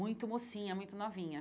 Muito mocinha, muito novinha.